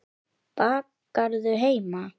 Bakarðu heima?